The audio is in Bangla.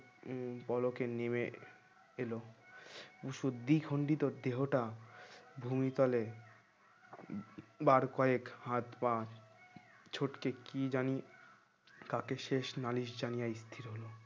উম পলকের নেমে এলো সু দিখন্ডিত দেহটা ভূমি তলে বার কয়েক হাত-পা ছোটকে কি জানি কাকে শেষ নালিশ জানিয়ে গেলো